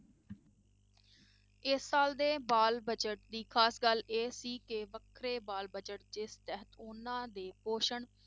ਇਸ ਸਾਲ ਦੇ ਬਾਲ budget ਦੀ ਖ਼ਾਸ ਗੱਲ ਇਹ ਸੀ ਕਿ ਵੱਖਰੇ ਬਾਲ budget ਦੇ ਤਹਿਤ ਉਹਨਾਂ ਦੇ ਪੋਸ਼ਣ